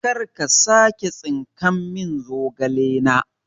karka sake tsinkan min zogale na